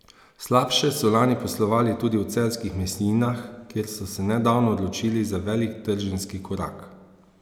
Slabše so lani poslovali tudi v Celjskih mesninah, kjer so se nedavno odločili za velik trženjski korak.